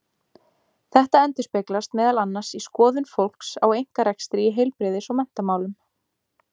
Þetta endurspeglast meðal annars í skoðun fólks á einkarekstri í heilbrigðis- og menntamálum.